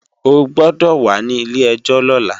O gbọ́dọ̀ wà ní ilé-ẹjọ́ lọ́la!